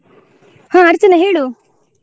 ಹಾ ಅರ್ಚನ ಹೇಳು.